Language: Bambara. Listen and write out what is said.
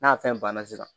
N'a fɛn banna sisan